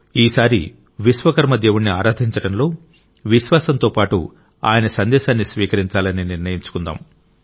ఈసారి విశ్వకర్మ దేవుడిని ఆరాధించడంలో విశ్వాసంతో పాటు ఆయన సందేశాన్ని స్వీకరించాలని నిర్ణయించుకుందాం